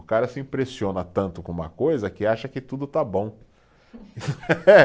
O cara se impressiona tanto com uma coisa que acha que tudo está bom.